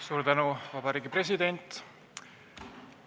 Suur tänu, Vabariigi President!